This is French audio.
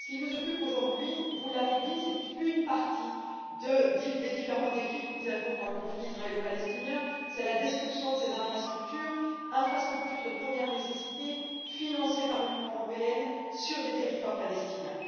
Ce qui nous occupe aujourd'hui vous l'avez dit c'est une partie des différents défis que nous avons dans le conflit israélo palestinien, à savoir la destruction de ces infrastructures infrastructures de première nécessité financées par l'Union européenne sur des territoires palestiniens.